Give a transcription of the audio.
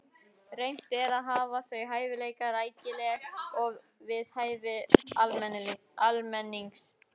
Reynt er að hafa þau hæfilega rækileg og við hæfi almennings.